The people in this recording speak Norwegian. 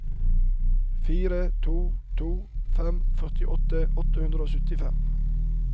fire to to fem førtifire åtte hundre og syttifem